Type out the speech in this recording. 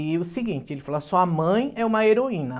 E o seguinte, ele falou, a sua mãe é uma heroína.